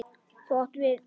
Þú átt við.